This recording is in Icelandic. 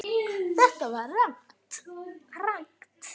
Þetta var rangt.